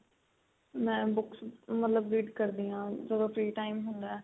ਮੈਂ books ਮਤਲਬ read ਕਰਦੀ ਆ ਜਦੋ free time ਹੁੰਦਾ